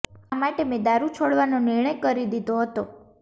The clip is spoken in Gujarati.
આ માટે મેં દારૂ છોડવાનો નિર્ણય કરી દીધો હતો